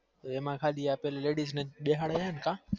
એ માં ખાલી ladies બેહાડે કા